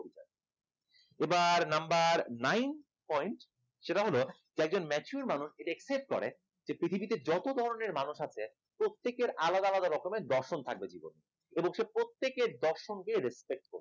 এবার number nine point সেটা হল একজন mature মানুষ এটা accept করে যে পৃথিবীতে যত ধরনের মানুষ আছে প্রত্যেকের আলাদা আলাদা রকমের দর্শন থাকবে জীবনে এবং সে প্রত্যেকের দর্শনকে respect